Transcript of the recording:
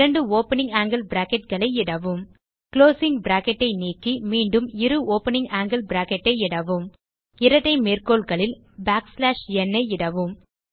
இரண்டு opening angle bracketகளை இடவும் குளோசிங் பிராக்கெட் ஐ நீக்கி மீண்டும் இரு ஓப்பனிங் ஆங்கில் பிராக்கெட் ஐ இடவும் இரட்டை மேற்கோள்களில் பேக்ஸ்லாஷ் ந் ஐ இடவும்